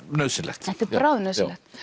nauðsynlegt bráð nauðsynlegt